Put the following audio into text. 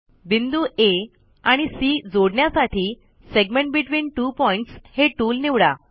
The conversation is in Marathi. बिंदू आ आणि सी जोडण्यासाठी सेगमेंट बेटवीन त्वो पॉइंट्स हे टूल निवडा